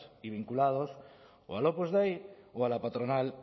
y vinculados o al opus dei o a la patronal